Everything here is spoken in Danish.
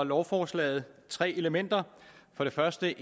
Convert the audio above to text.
lovforslaget tre elementer for det første